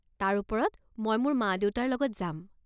তাৰ ওপৰত মই মোৰ মা দেউতাৰ লগত যাম।